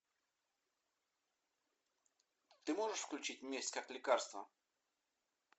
ты можешь включить месть как лекарство